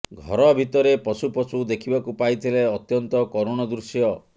ଘର ଭିତରେ ପଶୁ ପଶୁ ଦେଖିବାକୁ ପାଇଥିଲେ ଅତ୍ୟନ୍ତ କରୁଣ ଦୃଶ୍ୟ